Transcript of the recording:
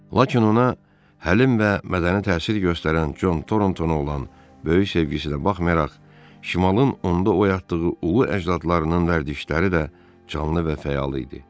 Lakin ona həlim və mədəni təsir göstərən Con Torontonuna olan böyük sevgisinə baxmayaraq, şimalın onda oyatdığı ulu əcdadlarının vərdişləri də canlı və fəal idi.